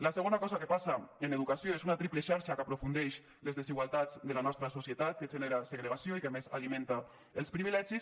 la segona cosa que passa en educació és una triple xarxa que aprofundeix les desigualtats de la nostra societat que genera segregació i que a més alimenta els privilegis